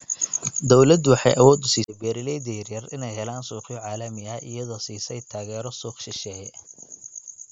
Dawladdu waxay awood u siisay beeralayda yaryar inay helaan suuqyo caalami ah iyadoo siisay taageero suuq shisheeye.